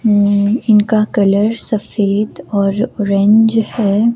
हम्म इनका कलर सफेद और ऑरेंज है।